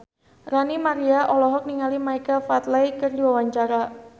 Ranty Maria olohok ningali Michael Flatley keur diwawancara